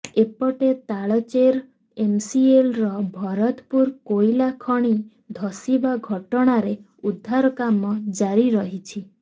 ଏପଟେ ତାଳଚେର ଏମସିଏଲର ଭରତପୁର କୋଇଲା ଖଣି ଧସିବା ଘଟଣାରେ ଉଦ୍ଧାର କାମ ଜାରି ରହିଛି